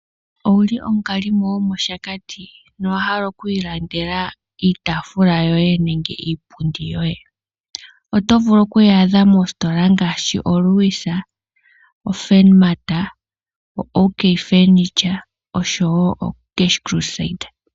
Owu li omukalimo gomoshakati nowa hala okwiilandela iitafula yoye nenge iipundi yoye? Oto vulu okuyaadha moositola ngaashi oLewis, oFurnmat, OK Furniture oshowo oCash Crusade.